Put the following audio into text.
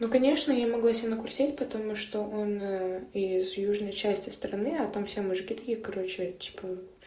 ну конечно я могла себе на накрутить потому что он из южной части страны а там все мужики таких короче типа